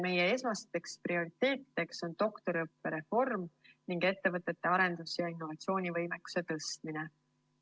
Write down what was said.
Meie esmased prioriteedid on doktoriõppe reform ning ettevõtete arendus‑ ja innovatsioonivõimekuse tõstmine.